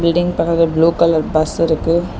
Building பக்கத்துல blue colour பஸ்ஸிருக்கு .